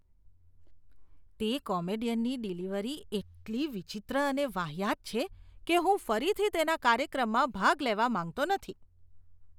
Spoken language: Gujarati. તે કોમેડિયનની ડિલિવરી એટલી વિચિત્ર અને વાહિયાત છે કે હું ફરીથી તેના કાર્યક્રમમાં ભાગ લેવા માંગતો નથી.